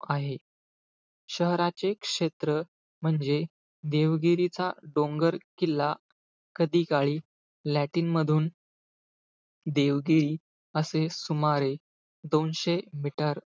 आहे. शहराचे क्षेत्र म्हणजे देवगिरीचा डोंगरकिल्ला कधीकाळी, लॅटिन मधून देवगिरी असे सुमारे, दोनशे meter,